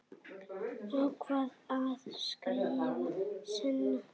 Ákvað að skrifa seinna.